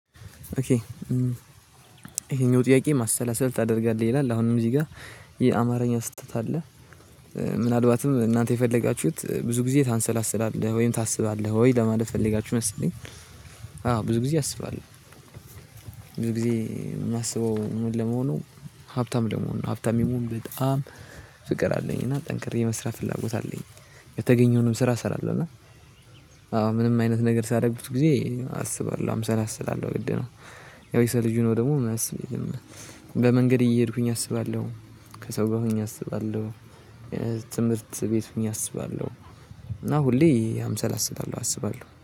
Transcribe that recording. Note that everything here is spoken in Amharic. ኦኬ ይሄኛው ጥያቄ ማሰላሰል ታደርጋለህ ይላል አሁንም እዚህ ጋር የአማርኛ ስህተት አለ። ምናልባትም እናንተ የፈለጋችሁት ብዙ ጊዜ ታንሰላስላለህ ወይም ታስባለህ ወይ? ለማለት ፈለጋችሁ መሰለኝ። አዎ ብዙ ጊዜ አስባለሁ። ብዙ ጊዜ የማስበው ምን ለመሆኑ? ሀብታም ለመሆን ነው ሀብታም የመሆን በጣም ፍቅር አለኝ እና ጠንክሬ የመስራት ፍላጎት አለኝ። የተገኘውንም ስራ እሰራለሁ እና። አዎ ምንም አይነት ነገር ሳረግ ብዙ ጊዜ አስባለሁ አምሰላስላለሁ ግድ ነው። ያው የሰው ልጅ ሆኖ ደግሞ ማያስብ የለም። በመንገድ እየሄድኩኝ አስባለሁ። ከሰው ጋር ሆኜ አስባለሁ። ትምህርት ቤት ሆኜ አስባለሁ። እና ሁሌ አምሳል አስባለሁ አስባለሁ